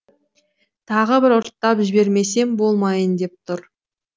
тағы бір ұрттап жібермесем болмайын деп тұр